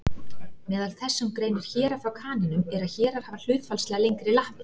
Meðal þess sem greinir héra frá kanínum er að hérar hafa hlutfallslega lengri lappir.